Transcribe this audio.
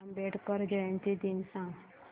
आंबेडकर जयंती दिन सांग